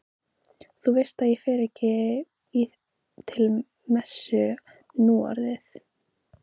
Þú veist að ég fer ekki til messu núorðið.